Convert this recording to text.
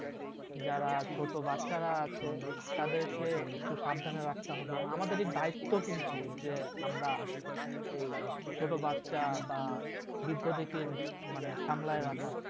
যার ছোটো বাচ্চারা আছে তাদেরকে একটু সাবধানে রাখতে হবে আমাদেরই দায়িত্ব কিন্তু যে আমরা এই ছোটো বাচ্চা বা বৃদ্ধদের কে সামলে রাখা